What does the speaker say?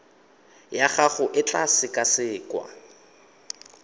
ya gago e tla sekasekwa